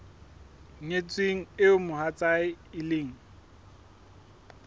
nyetsweng eo mohatsae e leng